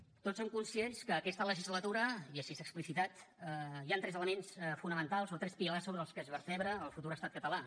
tots som conscients que en aquesta legislatura i així s’ha explicitat hi han tres elements fonamentals o tres pilars sobre els quals es vertebra el futur estat català